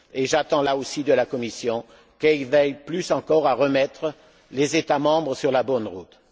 J'attends là aussi de la Commission qu'elle veille encore plus à remettre les États membres sur la bonne route.